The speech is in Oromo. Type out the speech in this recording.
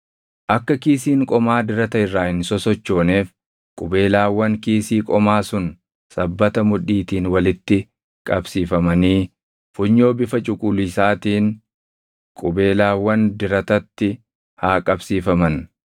Akka kiisiin qomaa dirata irraa hin sosochooneef qubeelaawwan kiisii qomaa sun sabbata mudhiitiin walitti qabsiifamanii funyoo bifa cuquliisaatiin qubeelaawwan diratatti haa qabsiifaman.